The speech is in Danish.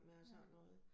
Ja